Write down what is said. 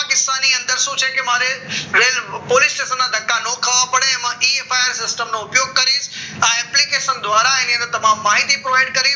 કિસ્સાની અંદર શું છે કે મારે વેલ પોલીસ સ્ટેશન ધક્કા ખાવ પડે એમાં ઉપયોગ કરીશ આ application દ્વારા એની તમામ માહિતી પ્રોવાઇડ કરીશ